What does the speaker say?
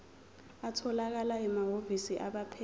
atholakala emahhovisi abaphethe